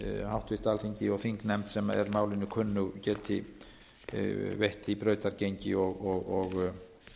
háttvirt alþingi og þingnefnd sem er málinu kunnug geti veitt því brautargengi og